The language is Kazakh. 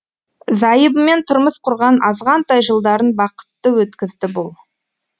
зайыбымен тұрмыс құрған азғантай жылдарын бақытты өткізді бұл